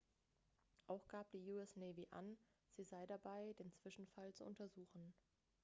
auch gab die us navy an sie sei dabei den zwischenfall zu untersuchen